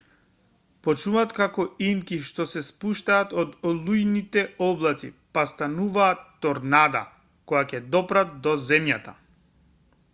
почнуваат како инки што се спуштаат од олујните облаци па стануваат торнада кога ќе допрат до земјата